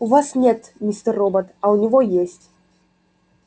у вас нет мистер робот а у него есть